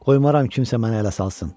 Qoymaram kimsə mənə ələ salsın.